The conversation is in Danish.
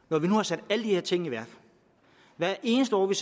når vi nu har sat alle de her ting i værk hvert eneste år vi